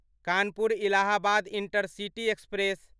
Kanpur Allahabad intercity express